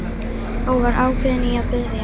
Og var ákveðinn í að biðja